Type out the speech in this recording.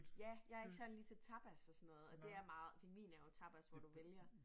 Ja jeg ikke sådan lige til tapas og sådan noget og det er meget Pingvin er jo tapas hvor du vælger